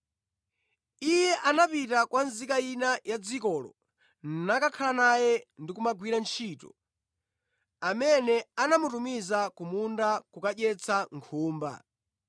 Iye anapita kwa nzika ina ya dzikolo nakakhala naye ndi kumagwira ntchito, amene anamutumiza ku munda kukadyetsa nkhumba.